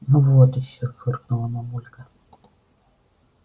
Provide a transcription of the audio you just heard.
ну вот ещё фыркнула мамулька